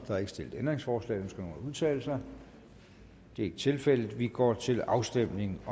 er ikke stillet ændringsforslag ønsker nogen udtale sig det er ikke tilfældet vi går til afstemning